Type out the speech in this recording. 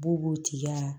B'u b'o tigi la